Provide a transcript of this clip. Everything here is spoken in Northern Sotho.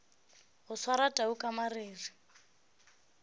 go swara tau ka mariri